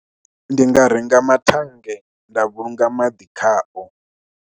Ndi nga renga mathannge nda vhulunga maḓi khao.